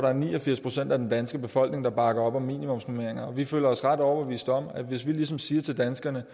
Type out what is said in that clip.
er ni og firs procent af den danske befolkning der bakker op om minimumsnormeringer og vi føler os ret overbeviste om at hvis vi ligesom siger til danskerne